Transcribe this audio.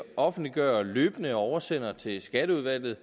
offentliggør løbende og oversender til skatteudvalget